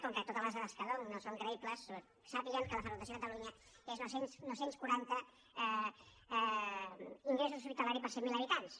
com que totes les dades que dono no són creïbles sàpiguen que la freqüentació a catalunya és nou cents i quaranta ingressos hospitalaris per cent miler habitants